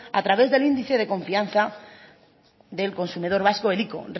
a través del índice de confianza del consumidor vasco el ico